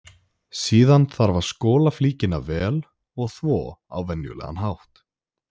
Síðan þarf að skola flíkina vel og þvo á venjulegan hátt.